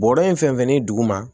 Bɔrɔ in fɛn fɛn ni dugu ma